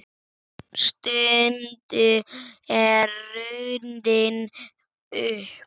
Stundin er runnin upp.